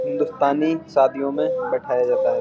हिन्दुस्तानी शादियों में बैठाया जाता है।